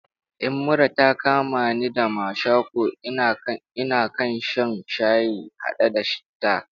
In mura ta kama ni da mashako, na kan sha shayi haɗe da citta